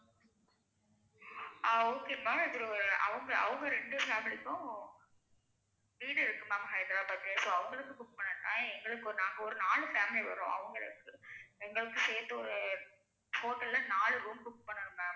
அஹ் okay ma'am அது அவங்க அவங்க ரெண்டு families க்கும் வீடு இருக்கு ma'am ஹைதராபாத்லயே so அவங்களுக்கு book பண்ண வேண்டா. எங்களுக்கு நாங்க ஒரு நாலு family வரோம் அவங்கள எங்கள எங்களுக்கு சேத்து ஒரு hotel ல நாலு room book பண்ணனும் ma'am.